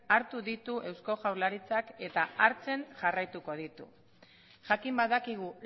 hartu ditu eusko jaurlaritzak eta hartzen jarraituko ditu jakin badakigu